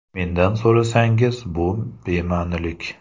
Mendan so‘rasangiz, bu bema’nilik.